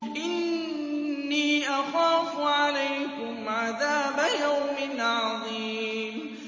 إِنِّي أَخَافُ عَلَيْكُمْ عَذَابَ يَوْمٍ عَظِيمٍ